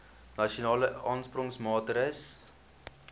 nasionale aansporingsmaatre ls